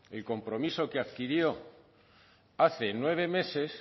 el compromiso que adquirió hace nueve meses